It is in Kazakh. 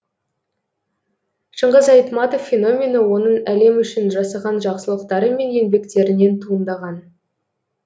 шыңғыс айтматов феномені оның әлем үшін жасаған жақсылықтары мен еңбектерінен туындаған